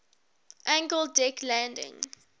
angled deck landing